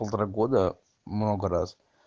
полтора года много раз